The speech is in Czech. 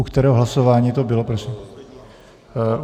U kterého hlasování to bylo, prosím?